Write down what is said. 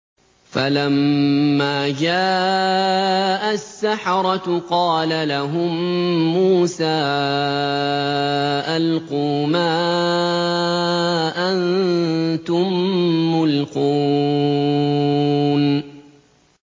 فَلَمَّا جَاءَ السَّحَرَةُ قَالَ لَهُم مُّوسَىٰ أَلْقُوا مَا أَنتُم مُّلْقُونَ